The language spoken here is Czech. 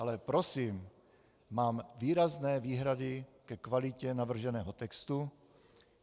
Ale prosím, mám výrazné výhrady ke kvalitě navrženého textu.